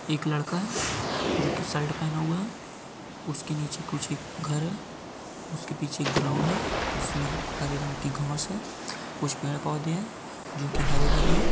एक लड़का है जो की शर्ट पहना हुआ है उसके नीचे कुछ एक घर है उसके पीछे एक ग्राउंड है जिसमे हरे रंग की घास है कुछ पेड़ पौधे है जो की हरे-भरे है।